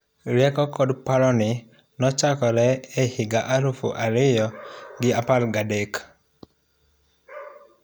Rieko kod paroni nochakre ehiga elufu ariyo gi apar gadek.